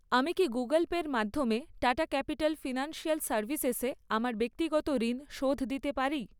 আমি কি গুগল পে'র মাধ্যমে টাটা ক্যাপিটাল ফিনান্সিয়াল সার্ভিসেসে আমার ব্যক্তিগত ঋণ শোধ দিতে পারি?